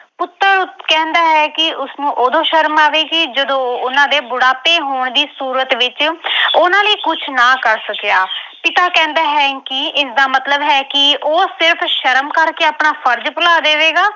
ਕਹਿੰਦਾ ਹੈ ਕਿ ਉਸਨੂੰ ਉਦੋਂ ਸ਼ਰਮ ਆਵੇਗੀ ਜਦੋਂ ਉਹ ਉਹਨਾਂ ਦੇ ਬੁਢਾਪੇ ਹੋਣ ਦੀ ਸੂਰਤ ਵਿੱਚ ਉਹਨਾਂ ਲਈ ਕੁਝ ਨਾ ਕਰ ਸਕਿਆ। ਪਿਤਾ ਕਹਿੰਦਾ ਹੈ ਕਿ ਇਸਦਾ ਮਤਲਬ ਹੈ ਕਿ ਉਹ ਸਿਰਫ ਸ਼ਰਮ ਕਰਕੇ ਆਪਣਾ ਫਰਜ਼ ਭੁਲਾ ਦੇਵੇਗਾ।